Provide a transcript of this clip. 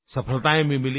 सफलतायें भी मिलीं